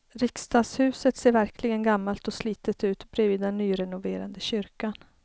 Riksdagshuset ser verkligen gammalt och slitet ut bredvid den nyrenoverade kyrkan.